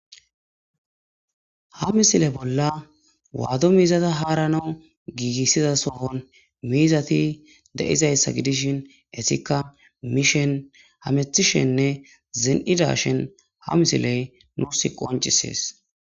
ha misile bolla waado miizata haaranawu giigissiza sohon miizati de7izayssa gidishin esika miishen hamethishenne zen7ida shen ha misiley nuus qoncisees.